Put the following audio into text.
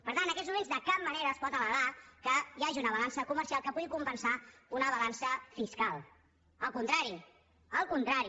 per tant en aquests moments de cap manera es pot al·legar que hi hagi una balança comercial que pugui compensar una balança fiscal al contrari al contrari